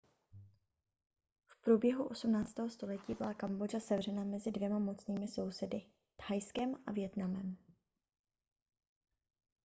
v průběhu 18. století byla kambodža sevřena mezi dvěma mocnými sousedy thajskem a vietnamem